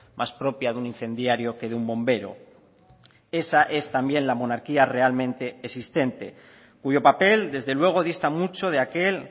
más propia de un incendiario que de un bombero esa es también la monarquía realmente existente cuyo papel desde luego dista mucho de aquel